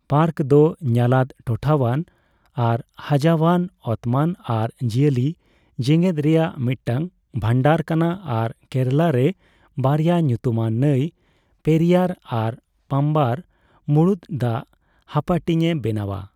Park ᱫᱚ ᱧᱟᱞᱟᱫ, ᱴᱚᱴᱷᱟᱣᱟᱱ ᱟᱨ ᱦᱟᱡᱟᱣᱟᱱ ᱚᱛᱢᱚᱱ ᱟᱨ ᱡᱤᱭᱟᱹᱞᱤ ᱡᱮᱜᱮᱫ ᱨᱮᱭᱟᱜ ᱢᱤᱫᱴᱟᱝ ᱵᱷᱟᱱᱰᱟᱨ ᱠᱟᱱᱟ ᱟᱨ ᱠᱮᱨᱟᱞᱟ ᱨᱮ ᱵᱟᱨᱭᱟ ᱧᱩᱛᱩᱢᱟᱱ ᱱᱟᱹᱭ ᱯᱮᱨᱤᱭᱟᱨ ᱟᱨ ᱯᱟᱢᱵᱟᱨ ᱢᱩᱲᱩᱫ ᱫᱟᱜᱽᱦᱟᱯᱟᱴᱤᱧᱮ ᱵᱮᱱᱟᱣᱼᱟ ᱾